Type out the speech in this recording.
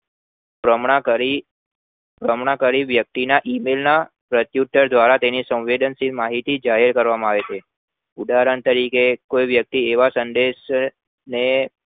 તો હમણાં ઘણી ઘણી વ્યક્તિ ના email ના પ્પર્રયુત્તર દ્વારા સંવેદનશીલ માહિતી જાહેર કરવામાં આવે છે ઉદાહરણ તરીકે કોઈ વ્યક્તિ એવા સંદેશ ને